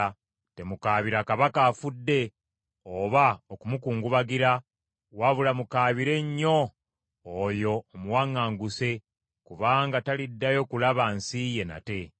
Temukaabira kabaka afudde oba okumukungubagira, wabula mukaabire nnyo oyo omuwaŋŋanguse, kubanga taliddayo kulaba nsi ye nate.